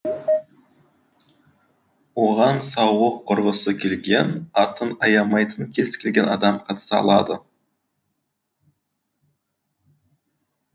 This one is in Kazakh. оған сауық құрғысы келген атын аямайтын кез келген адам қатыса алады